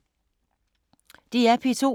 DR P2